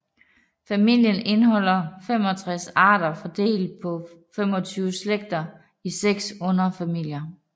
Familien indeholder 65 arter fordelt på 25 slægter i 6 underfamilier